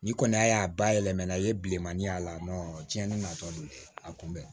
Ni kɔni y'a bayɛlɛmana i ye bilemanin y'a la tiɲɛni na tɔ don a kun bɛ